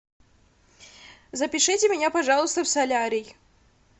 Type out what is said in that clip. запишите меня пожалуйста в солярий